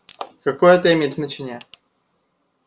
а какое это имеет значение